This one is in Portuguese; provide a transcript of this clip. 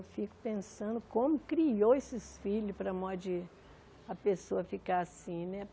Eu fico pensando como criou esses filhos para mó de a pessoa ficar assim, né?